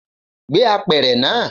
Gbé apẹ̀rẹ̀ náà!